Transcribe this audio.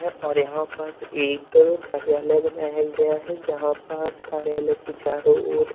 और यहां पास एक कार्यालय बनाया गया है जहां पास कार्यालय के चारो ओर--